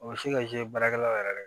O bɛ se ka baarakɛlaw yɛrɛ